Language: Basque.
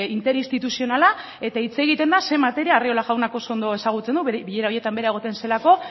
inter instituzionala eta hitz egiten da zer materia arriola jaunak oso ondo ezagutzen du bilera horietan bera egoten zelako